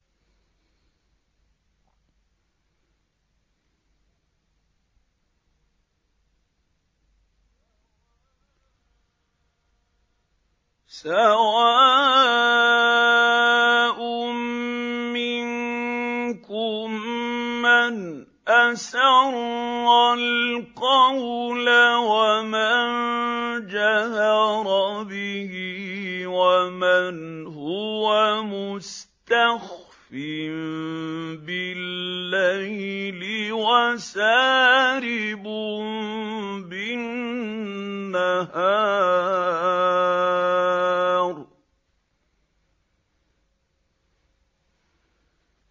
سَوَاءٌ مِّنكُم مَّنْ أَسَرَّ الْقَوْلَ وَمَن جَهَرَ بِهِ وَمَنْ هُوَ مُسْتَخْفٍ بِاللَّيْلِ وَسَارِبٌ بِالنَّهَارِ